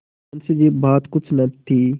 मुंशीबात कुछ न थी